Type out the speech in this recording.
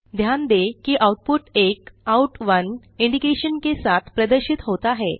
ध्यान दें कि आउटपुट एक Out1 इंडिकेशन के साथ प्रदर्शित होता है